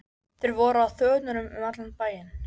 SKÚLI: Ég mótmæli þessari einstæðu lögleysu.